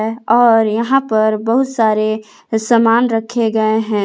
और यहां पर बहुत सारे सामान रखे गए हैं।